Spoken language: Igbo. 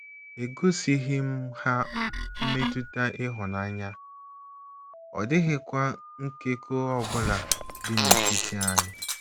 Egosịghị m ha mmetụta ịhụnanya, ọ dịghịkwa nkekọ ọ bụla dị n’etiti anyị. ”